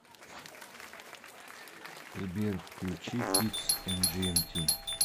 сбер включи кидс эмджиэмти